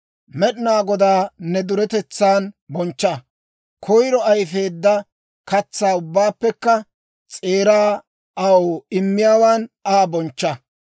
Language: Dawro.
Med'inaa Godaa ne duretetsan bonchcha; koyiro ayifeedda katsaa ubbaappekka s'eeraa aw immiyaawan Aa bonchcha.